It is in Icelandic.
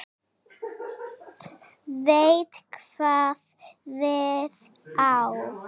Veit hvað við á.